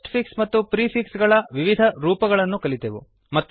post fix ಮತ್ತು prefix ಗಳ ವಿವಿಧ ರೋಪಗಳನ್ನು ಕಲಿತೆವು